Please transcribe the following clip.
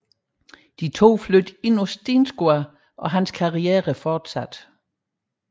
De to flyttede ind på Steensgaard og hans karriere fortsatte